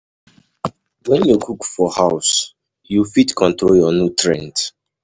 When you cook for house you fit control your nutrient